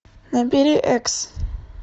набери экс